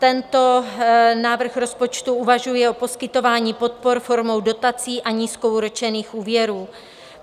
Tento návrh rozpočtu uvažuje o poskytování podpor formou dotací a nízkoúročených úvěrů.